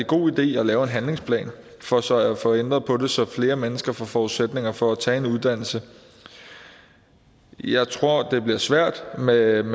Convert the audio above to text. god idé at lave en handlingsplan for så at få ændret på det så flere mennesker får forudsætninger for at tage en uddannelse jeg tror det bliver svært med en